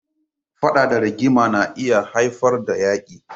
Faɗa da rigima na iya haifar da Yaƙi.